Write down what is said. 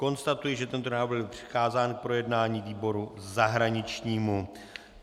Konstatuji, že tento návrh byl přikázán k projednání výboru zahraničnímu.